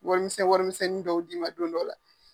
Warimisɛn warimisɛnnin dɔw d'i ma don dɔ la.